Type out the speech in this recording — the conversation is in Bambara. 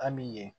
A mi ye